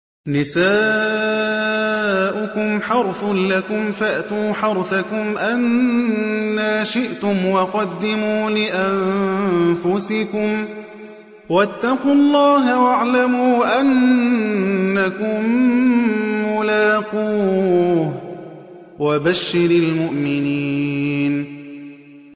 نِسَاؤُكُمْ حَرْثٌ لَّكُمْ فَأْتُوا حَرْثَكُمْ أَنَّىٰ شِئْتُمْ ۖ وَقَدِّمُوا لِأَنفُسِكُمْ ۚ وَاتَّقُوا اللَّهَ وَاعْلَمُوا أَنَّكُم مُّلَاقُوهُ ۗ وَبَشِّرِ الْمُؤْمِنِينَ